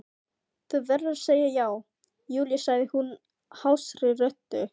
Þú verður að segja já, Júlía sagði hún hásri röddu.